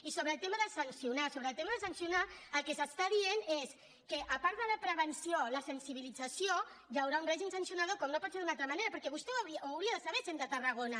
i sobre el tema de sancionar sobre el tema de sancionar el que s’està dient és que a part de la prevenció la sensibilització hi haurà un règim sancionador com no pot ser d’una altra manera perquè ho hauria de saber sent de tarragona